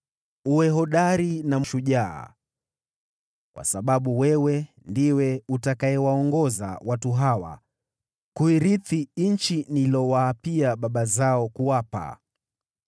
“Uwe hodari na shujaa, kwa sababu wewe ndiwe utakayewaongoza watu hawa kuirithi nchi niliyowaapia baba zao kuwapa.